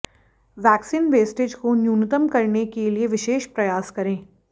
vaccine wastage को न्यूनतम करने के लिए विशेष प्रयास करें